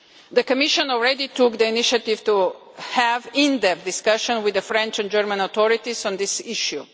The Commission has already taken the initiative to have in-depth discussions with the French and German authorities on this issue.